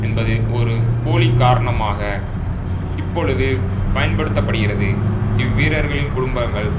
என்பது ஒரு போலி காரணமாக இப்பொழுது பயன்படுத்த படுகிறது இவ்வீரர்களின் குடும்பங்கள்